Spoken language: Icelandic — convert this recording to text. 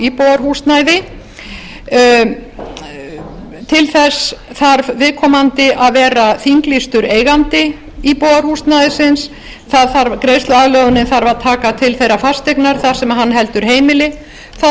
íbúðarhúsnæði til þess þarf viðkomandi að vera þinglýstur eigandi íbúðarhúsnæðisins greiðsluaðlögunin þarf að taka til þeirrar fasteignar þar sem hann heldur heimili það þarf